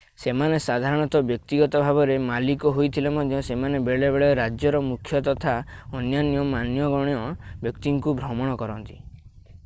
ସେମାନେ ସାଧାରଣତଃ ବ୍ୟକ୍ତିଗତ ଭାବରେ ମାଲିକ ହୋଇଥିଲେ ମଧ୍ୟ ସେମାନେ ବେଳେବେଳେ ରାଜ୍ୟ ର ମୁଖ୍ୟ ତଥା ଅନ୍ୟାନ୍ୟ ମାନ୍ୟଗଣ୍ୟ ବ୍ୟକ୍ତିଙ୍କୁ ଭ୍ରମଣ କରନ୍ତି